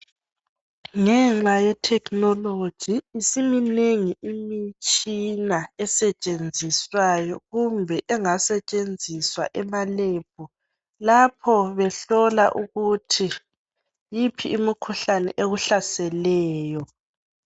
Ngenxa ye"technology" isiminengi imitshina estshenziswayo kumbe engasetshenziswa ema"lab" lapho behlola ukuthi yiphi imikhuhlane ekuhlaseleyo.